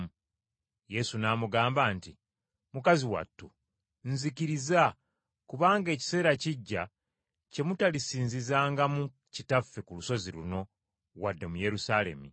Yesu n’amugamba nti, “Mukazi wattu nzikiriza, kubanga ekiseera kijja kye mutalisinzizangamu Kitaffe ku lusozi luno wadde mu Yerusaalemi.